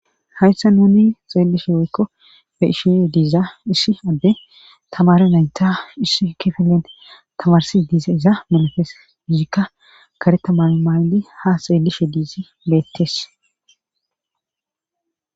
hayssa nuni xeelishe woykko fe ishise diiza isshi adde tamare naynta isshi kifilen tamarsi diiza iza manafees iyikka karetama maaydi ha xeellishe diizi leetes